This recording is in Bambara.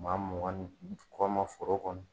Maa mugan ni kɔ ma foro kɔnɔ